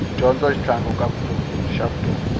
dyondzo i xitlhangu xa vutomi